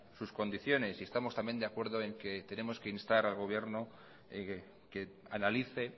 sus condiciones y estamos también de acuerdo en que tenemos que instar al gobierno que analice